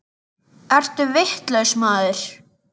Ertu vitlaus maður?